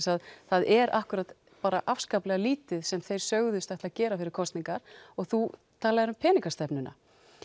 að það er akkúrat afskaplega lítið sem þeir sögðust ætla að gera fyrir kosningar og þú talaðir um peningastefnununa